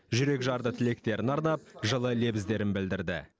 жүрек жарды тілектерін арнап жылы лебіздерін білдірді